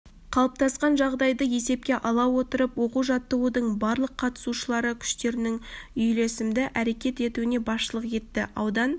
қалыптасқан жағдайды есепке ала отырып оқу-жаттығудың барлық қатысушылары күштерінің үйлесімді әрекет етуіне басшылық етті аудан